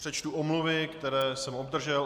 Přečtu omluvy, které jsem obdržel.